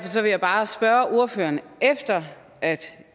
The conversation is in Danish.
bare spørge ordføreren efter at